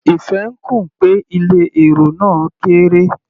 Ife ń kùn pé ilé èrò náà kéré.